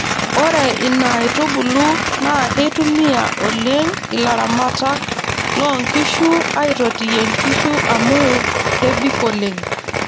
Ore ina aitubulu naa keitumiya oleng ilaramatak loo nkishu aitotiyie nkishu amu kebik oleng.